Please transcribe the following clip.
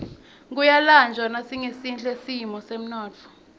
kuyalanjwa nasingesihle simo semnotfo